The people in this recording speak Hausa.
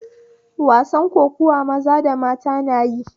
Wasan kokuwa maza da mata na yi